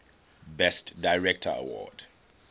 best director award